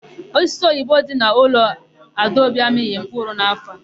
Osisi ubeoyibo dị n'ụlọ Adaobi amịghị mkpụrụ n'áfọ̀ a.